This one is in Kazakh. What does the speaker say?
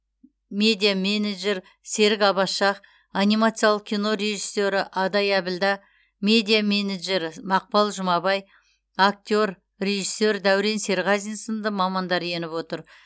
медиа менеджер серік аббас шах анимациялық кино режиссері адай әбілда медиа менеджері мақпал жұмабай актер режиссер дәурен серғазин сынды мамандар еніп отыр